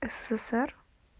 ссср